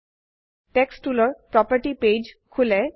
text টুলৰ property page খোলে